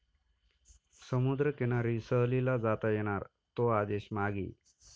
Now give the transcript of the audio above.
समुद्रकिनारी सहलीला जाता येणार, 'तो' आदेश मागे